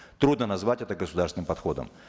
трудно назвать это государственным подходом